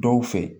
Dɔw fɛ